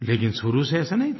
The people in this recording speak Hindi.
लेकिन शुरू से ऐसा नहीं था